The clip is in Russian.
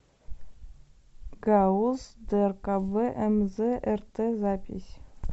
гауз дркб мз рт запись